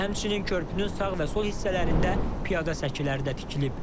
Həmçinin körpünün sağ və sol hissələrində piyada səkiləri də tikilib.